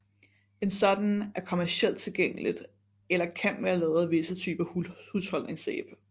En sådan er kommercielt tilgængelig eller kan være lavet af visse typer husholdningssæbe